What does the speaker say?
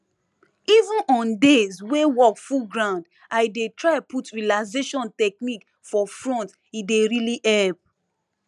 even on days wey work full ground i dey try put relaxation technique for front e dey really help